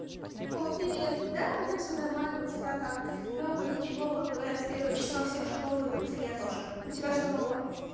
о привет да у меня все нормально у тебя как нового ничего вот говорят с первого числа все в школу идут я тоже у тебя что нового